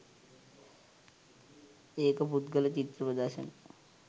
ඒක පුද්ගල චිත්‍ර ප්‍රදර්ශන